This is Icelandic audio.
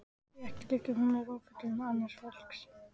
Því ekki liggi hún í rúmfötum annars fólks.